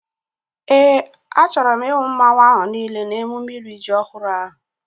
Éè, a chọrọ m ihu mmanwu ahu niile n'emume iri ji ọhụrụ ahu